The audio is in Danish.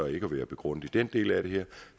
ikke at være begrundet i den del af det